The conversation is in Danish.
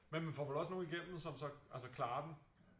Men man får vel også nogle igennem som så altså klarer den?